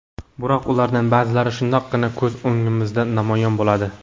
Biroq ulardan ba’zilari shundoqqina ko‘z o‘ngimizda namoyon bo‘ladi.